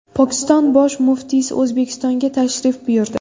Pokiston Bosh muftiysi O‘zbekistonga tashrif buyurdi.